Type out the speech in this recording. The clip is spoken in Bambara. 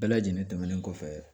Bɛɛ lajɛlen tɛmɛnen kɔfɛ